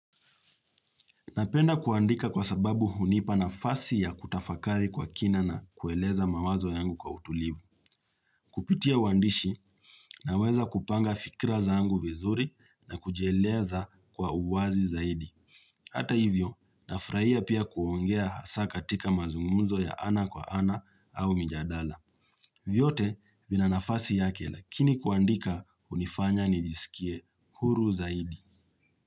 Napenda kuandika kwa sababu hunipa nafasi ya kutafakari kwa kina na kueleza mawazo yangu kwa utulivu. Kupitia uwandishi naweza kupanga fikira zangu vizuri na kujieleza kwa uwazi zaidi. Hata hivyo, nafuraia pia kuongea hasaa katika mazungumzo ya ana kwa ana au mjadala. Vyote vina nafasi yake lakini kuandika unifanya nijisikie huru zaidi.